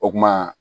O kuma